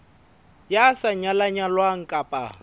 ya sa nyalang nyalwang kapa